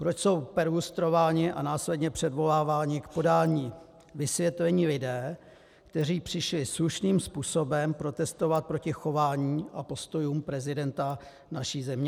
Proč jsou perlustrováni a následně předvoláváni k podání vysvětlení lidé, kteří přišli slušným způsobem protestovat proti chování a postojům prezidenta naší země?